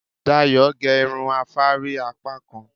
Dayọ̀ gé irun afárí apákan